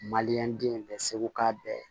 Maliyɛn den bɛ segu k'a bɛɛ